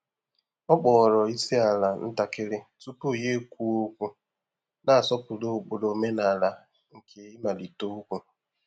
Ọ kpọọrọ isiala ntakịrị tupu ya ekwuo okwu, na-asọpụrụ ụkpụrụ omenala nke imalite ókwú.